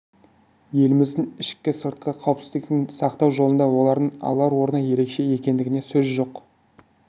еліміздің ішкі-сыртқы қауіпсіздігін сақтау жолында олардың алар орны ерекше екендігіне сөз жоқ